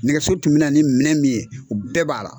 Nɛgɛso tun bɛ na ni minɛn min ye o bɛɛ b'a la.